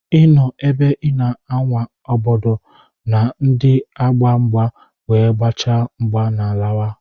I nọ ebe I na-awa ọgọdọ ndị na-agba mgba wee gbachaa mgba ma lawa.